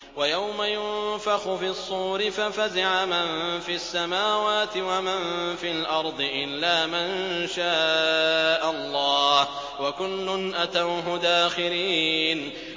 وَيَوْمَ يُنفَخُ فِي الصُّورِ فَفَزِعَ مَن فِي السَّمَاوَاتِ وَمَن فِي الْأَرْضِ إِلَّا مَن شَاءَ اللَّهُ ۚ وَكُلٌّ أَتَوْهُ دَاخِرِينَ